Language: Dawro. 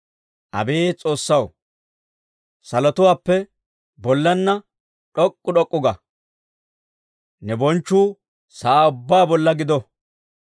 Abeet S'oossaw, salotuwaappe bollaanna d'ok'k'u d'ok'k'u ga! Ne bonchchuu sa'aa ubbaa bolla gido.